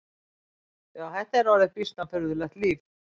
Já, þetta yrði býsna furðulegt líf!